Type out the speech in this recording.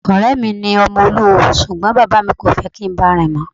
Ọ̀rẹ́ mi ni ọmọ olúwo ṣùgbọ́n bàbá mi kò fẹ́ kí n báà rìn mọ́.